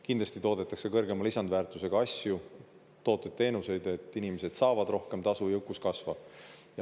Kindlasti toodetakse kõrgema lisandväärtusega asju, tooteid, teenuseid, et inimesed saavad rohkem tasu, jõukus kasvab.